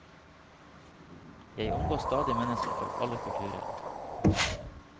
Jeg omgås stadig mennesker fra alle kulturer.